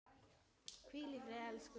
Hvíl í friði, elsku vinur.